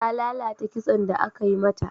Ta lalata kitson da aka yi mata.